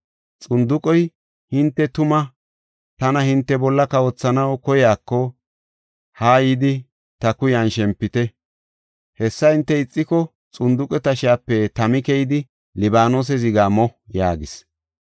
Xunduqey, ‘Hinte tuma tana hinte bolla kawothanaw koyiko, haa yidi ta kuyan shempite. Hessa hinte ixiko, xunduqe tashiyape tami keyidi Libaanose zigaa mo’ yaagis.